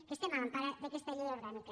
que estem a l’empara d’aquesta llei orgànica